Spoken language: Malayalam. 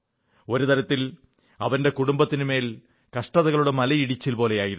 ഒരു തരത്തിൽ അവന്റെ കുടുംബത്തിനുമേൽ കഷ്ടതകളുടെ മലയിടിച്ചിൽ പോലെയായിരുന്നു